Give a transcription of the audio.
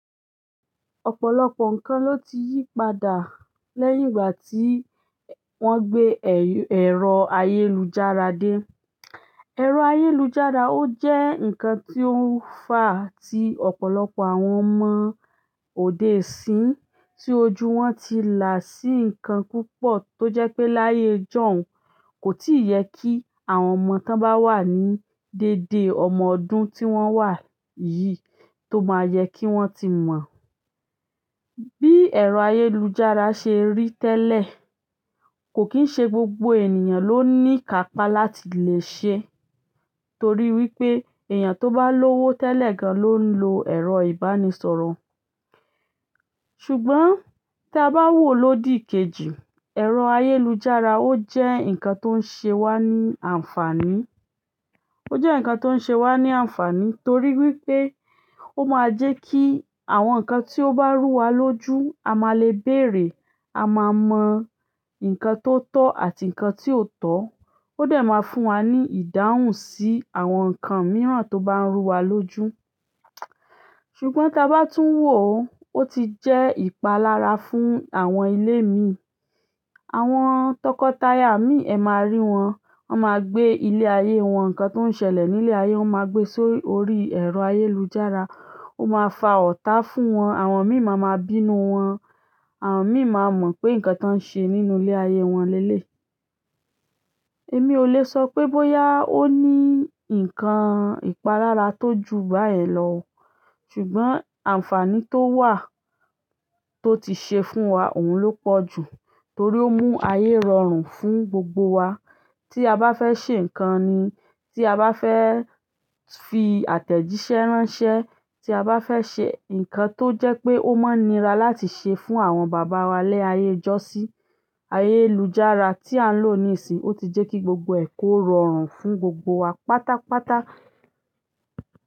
Ọ̀pọ̀lọpọ̀ ǹkan ló ti yí padà lẹ́yìn ìgbà tí wọ́n gbé ẹ̀rọ ayélujára dé. Ẹ̀rọ ayélujára ò jẹ́ ǹkan ti ó ń fa ti ọ̀pọ̀lọpọ̀ àwọn ọmọ òde-sín tí ojú wọn ti là sí ǹkan púpọ̀ tó jẹ́ pé láyé ìjọ̀un, kò tíì yẹ kí àwọn ọmọ tó bá wà ní dédé ọmọ ọdún tí wọ́n wà yìí tó máa yẹ kí wọ́n ti mọ̀. Bí ẹ̀rọ ayélujára ṣe rí tẹ́lẹ̀, kò kín ṣe gbogbo ènìyàn ló ní kápa láti lè ṣe, torí wípé èèyàn tó bá lówó tẹ́lẹ̀ gan ló ń lo ẹ̀rọ ìbánisọ̀rọ̀. Ṣùgbọ́n tí a bá wò ó lódì kejì, ẹ̀rọ ayélujára ó jẹ́ ǹkan tó ń ṣe wá ní àǹfàní, ó jẹ́ ǹkan tó ń ṣe wá ní àǹfàní torí wípé ó máa ń jẹ́ kí àwọn ǹkan tí ó bá rú wa lójú, a máa le bèèrè, a máa mọ ǹkan tó tọ́ àti ǹkan tí ò tọ́, ó dà máa fún wa ní ìdáhùn sí àwọn ǹkan mìíràn tó bá ń rú wa lójú. Ṣùgbọ́n tí a bá tún wò ó, ó ti jẹ́ ìpalára fún àwọn ilé mi. Àwọn tọkọtaya mi, ẹ máa rí wọn, wọ́n máa gbé ilé ayé wọn, ǹkan tó ń ṣẹlẹ̀ nílé ayé, wọ́n máa gbé sórí ẹ̀rọ ayélujára, ó máa fa ọ̀tá fún wọn, àwọn mí mà máa bínú wọn, àwọn mí máa mọ̀ pé ǹkan tí wón ń ṣe nínú ilé ayé wọn lélè. Èmi ò le sọ pé bóyá ó ní ǹkan ìpalára tó ju báyẹn lọ, ṣùgbọ́n àǹfàní tó wà tó ti ṣe fún wa òun ló pọ̀ jù torí ó mú ayé rọrùn fún gbogbo wa. Tí a bá fẹ́ ṣe ǹkan ni, tí a bá fẹ́ fi àtẹ̀jíṣẹ́ ránṣẹ́, tí a bá fẹ́ ṣe ǹkan tó jẹ́ pé ó mọ́ nira láti ṣe fún àwọn bàbá wa lẹ́ ayé ìjọ́sí, ayélujára tí à ń lò níìsín, ó ti jẹ́ kí gbogbo ẹ̀ kó rọrùn fún gbogbo wa pátápátá.